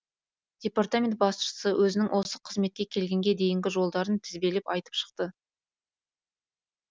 департамент басшысы өзінің осы қызметке келгенге дейінгі жолдарын тізбелеп айтып шықты